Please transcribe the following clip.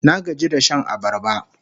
Na gaji da shan abarba